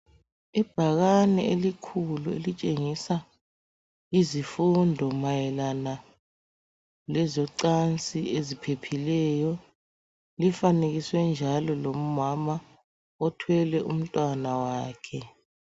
Ibhakani eiikhulu elitshengisa izifundo mayelana lezocansi eziphephileyo lifanekiswe njalo lomama othwele umntwana wakhe.